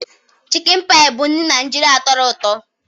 Chicken Pie bụ nri Naijiria tọrọ ụtọ.